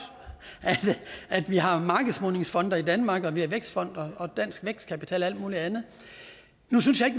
at vi har markedsmodningsfonde i danmark og at vi har vækstfonden og dansk vækstkapital og alt muligt andet nu synes jeg